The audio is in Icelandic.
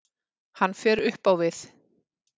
Hann fer upp á við.